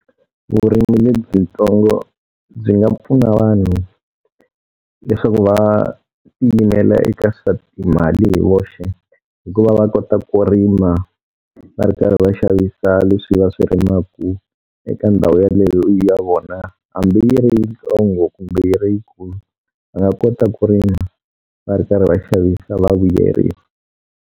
Vurimi lebyintsongo byi nga pfuna vanhu leswaku va ti yimela eka swa timali hi voxe, hikuva va kota ku rima, va ri karhi va xavisa leswi va swi rimaka eka ndhawu yaleyo ya vona. Hambi yi ri yintsongo kumbe yi ri yikulu va nga kota ku rima va ri karhi va xavisa va vuyeriwa.